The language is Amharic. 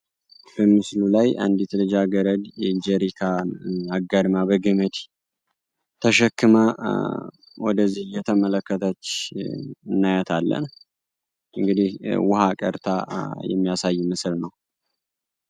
በምስሉ ላይ አንዲት ልጃገረድ ጀሪካን አጋድማ በገመድ ተሸክማ ወደዚህ እየተመለከተች እናያታለን እንግዲህ ውሀ ቀድታ የሚያሳይ ምስል ነው።